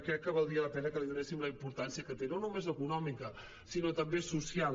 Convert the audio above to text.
crec que valdria la pena que li donéssim la impor·tància que té no només econòmica sinó també social